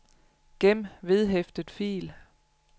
gem vedhæftet fil